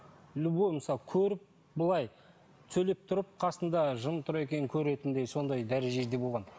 любой мысалы көріп былай сөйлеп тұрып қасыңда жын тұр екенін көретіндей сондай дәрежеде болған